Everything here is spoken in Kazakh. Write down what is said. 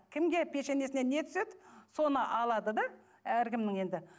кімге пешенесіне не түседі соны алады да әркімнің енді